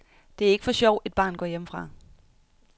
Det er ikke for sjov, et barn går hjemmefra.